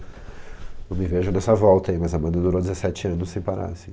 Não me vejo nessa volta aí, mas a banda durou dezessete anos sem parar assim